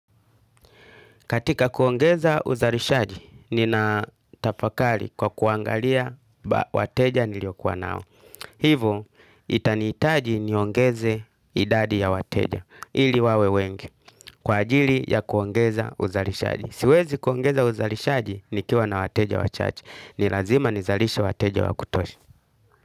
Katika kuongeza uzalishaji, nina tafakali kwa kuangalia wateja niliyokuwa nao. Hivo, itanihitaji niongeze idadi ya wateja, ili wawe wengi, kwa ajili ya kuongeza uzalishaji. Siwezi kuongeza uzalishaji nikiwa na wateja wa chache, nilazima nizalishe wateja wa kutoshi.